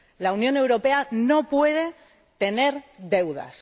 La Unión Europea no puede tener deudas.